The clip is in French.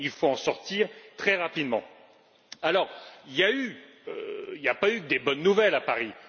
Il n'y a pas eu que des bonnes nouvelles à Paris.